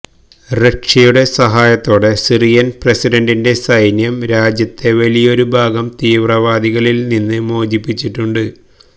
റഷ്യയുടെ സഹായത്തോടെ സിറിയന് പ്രസിഡന്റിന്റെ സൈന്യം രാജ്യത്തെ വലിയൊരു ഭാഗം തീവ്രവാദികളില് നിന്ന് മോചിപ്പിച്ചിട്ടുണ്ട്